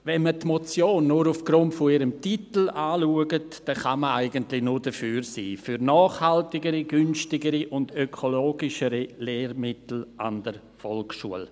Wenn man die Motion nur aufgrund ihres Titels anschaut, kann man eigentlich nur dafür sein: für nachhaltigere, günstigere und ökologischere Lehrmittel an der Volksschule.